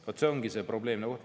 Vaat see ongi probleem.